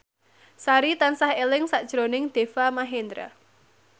Sari tansah eling sakjroning Deva Mahendra